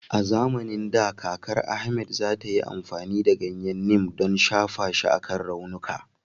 A zamanin da, kakar Ahmed za ta yi amfani da ganyen Neem don, shafa shi akan raunuka.